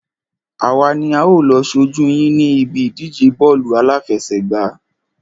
Àwa ni a ó lọ ṣojú yín ní ibi ìdíje bọ́ọ̀lù àláfẹsẹ̀gbá.